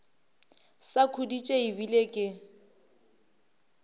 sa khuditše e bile ke